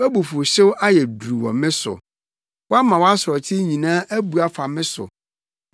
Wʼabufuwhyew ayɛ duru wɔ me so; woama wʼasorɔkye nyinaa abu afa me so.